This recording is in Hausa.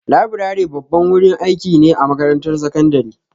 Laburare babban wurin aiki ne a makarantar sakandare.